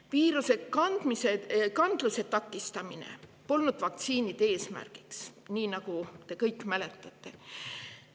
Vaktsiinide eesmärk polnud viiruse kandluse takistamine, nagu te kõik mäletate.